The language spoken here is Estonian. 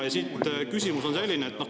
Ja küsimus on selline.